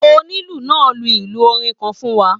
Onílù náà lù ilù orin kan fún wa